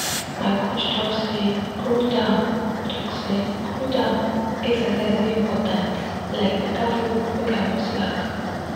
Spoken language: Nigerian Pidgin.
my coach talk say cool-down talk say cool-down exercise dey important like better food make i no slack.